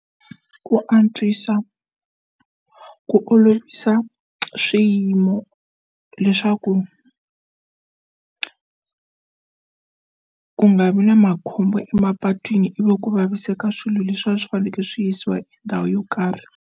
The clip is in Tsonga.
Ku antswisa ku olovisa swiyimo leswaku ku nga vi na makhombo emapatwini ivi ku vaviseka swilo leswi va swi fanekele swi yisiwa ndhawu yo karhi.